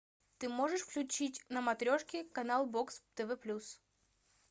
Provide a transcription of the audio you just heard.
ты можешь включить на матрешке канал бокс тв плюс